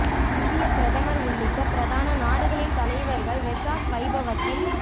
இந்தியப் பிரதமர் உள்ளிட்ட பிரதான நாடுகளின் தலைவர்கள் வெசாக் வைபவத்தில்